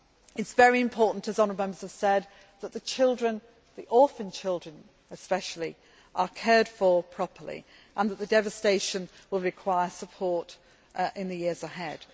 It is very important, as honourable Members have said, that the children, the orphan children especially, are cared for properly, and the devastation will require support in the years ahead.